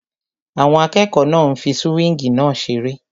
Àwọn akẹ́kọ̀ọ́ náà ń fí súwíngì náà seré